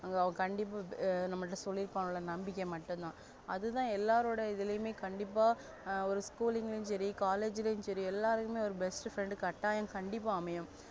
அவ கண்டிப்பா ஆ நம்மள்ட சொல்லிருபாங்க நம்பிக்க மட்டும்தா அதுதா எல்லாருடைய இதுலயும் கண்டிப்பா school சரி college யும் சரி best friend கட்டாயம் கண்டிப்பா அமையும்